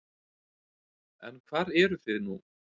En hvar eruð þið nú?